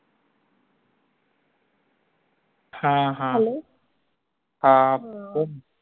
हां हां हां